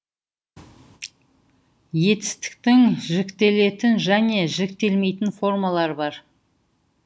етістіктің жіктелетін және жіктелмейтін формалары бар